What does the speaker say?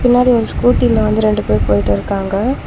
பின்னாடி ஒரு ஸ்கூட்டில வந்து ரெண்டு பேரு போயிட்ருக்காங்க.